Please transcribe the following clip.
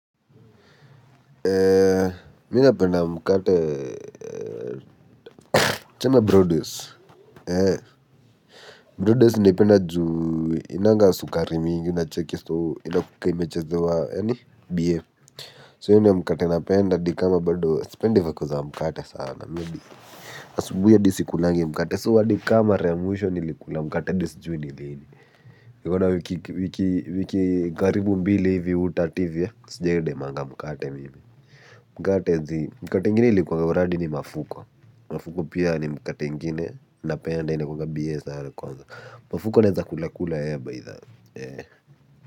Ee minapenda mkate chana broadways broadways naipenda juu inanga sukari mingi na cheki soo ina kuke imeche zewa yani bie so hio ndio mkate napenda di kama bado sipendi vako za mkate sana maybe asubuhi hadii si kulangi mkate so hadi kamara ya mwisho ni likula mkate di si juu ni lini nikona wiki wiki karibu mbili hivi utat hivi sijai demanga mkate mimi. Mkate zi mkate ingine likuwa uradi ni mafuko, mafuko pia ni mkate ingine napenda inakuanga biye za kwanza, mafuko ni za kulakula ya baitha, eh.